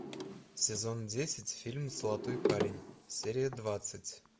сезон десять фильм золотой парень серия двадцать